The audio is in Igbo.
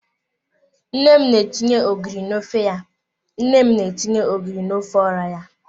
Nne m na-etinye ogiri na ofe ya. Nne m na-etinye ogiri na ofe ora ya.